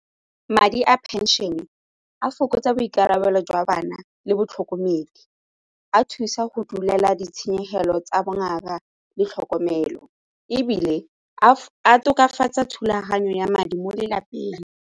Madi a pension-e a fokotsa boikarabelo jwa bana le batlhokomedi, a thusa go duelela ditshenyegelo tsa bongaka le tlhokomelo ebile a tokafatsa thulaganyo ya madi mo lelapeng.